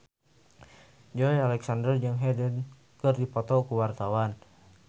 Joey Alexander jeung Hyde keur dipoto ku wartawan